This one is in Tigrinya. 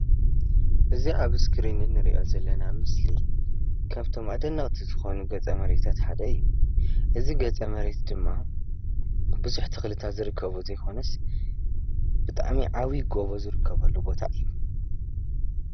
እዚ ኣብ እስክሪን እንሪኦ ዘለና ምስሊ ካብቶም ኣደነቅቲ ዝኮኑ ገፀ መሬታት ሓደ እዩ፡፡ እዚ ገፀ መሬት ድማ ቡዙሕ ተክልታት ዝርከብዎ ዘይኮነስ ብጣዕሚ ዓብይ ጎቦ ዝርከቦ ቦታ እዩ፡፡